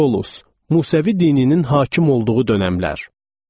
Qolus, Musəvi dininin hakim olduğu dönəmlər.